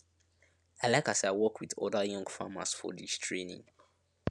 i like as i work with oda young farmers for dis training